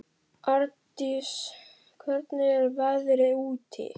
Ardís, hvernig er veðrið úti?